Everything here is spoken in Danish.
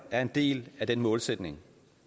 er en del af den målsætning